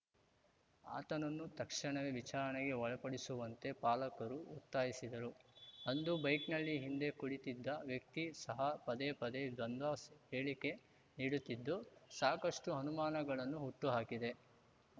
ಆತನನ್ನು ತಕ್ಷಣವೇ ವಿಚಾರಣೆಗೆ ಒಳಪಡಿಸುವಂತೆ ಪಾಲಕರು ಒತ್ತಾಯಿಸಿದರು ಅಂದು ಬೈಕ್‌ನಲ್ಲಿ ಹಿಂದೆ ಕುಳಿತಿದ್ದ ವ್ಯಕ್ತಿ ಸಹ ಪದೇಪದೇ ದ್ವಂದ್ವ ಸ್ ಹೇಳಿಕೆ ನೀಡುತ್ತಿದ್ದು ಸಾಕಷ್ಟುಅನುಮಾನಗಳನ್ನು ಹುಟ್ಟುಹಾಕಿದೆ